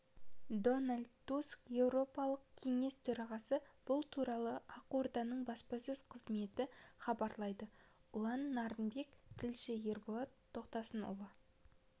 дональд туск еуропалық кеңес төрағасы бұл туралы ақорданың баспасөз қызметі хабарлайды ұлан нарынбек тілші ерболат тоқтасынұлы